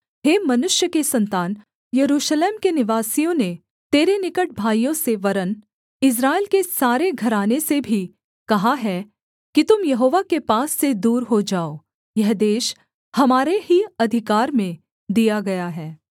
हे मनुष्य के सन्तान यरूशलेम के निवासियों ने तेरे निकट भाइयों से वरन् इस्राएल के सारे घराने से भी कहा है कि तुम यहोवा के पास से दूर हो जाओ यह देश हमारे ही अधिकार में दिया गया है